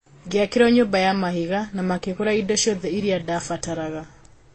Ngĩakĩrũo nyũmba ya mahiga na makĩgũra indo ciothe iria ndaabataraga.